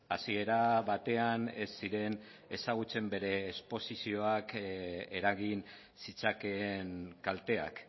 hasiera batean ez ziren ezagutzen bere esposizioak eragin zitzakeen kalteak